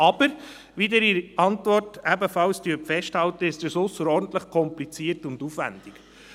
Dies ist aber, wie Sie in der Antwort ebenfalls festhalten, ausserordentlich kompliziert und aufwendig.